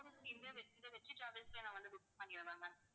வெ~ வெற்றி டிராவல்ஸ்ல நான் வந்து book பண்ணிடவா ma'am